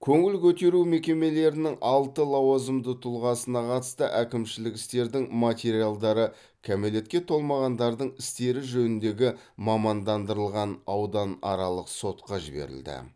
көңіл көтеру мекемелерінің алты лауазымды тұлғасына қатысты әкімшілік істердің материалдары кәмелетке толмағандардың істері жөніндегі мамандандырылған ауданаралық сотқа жіберілді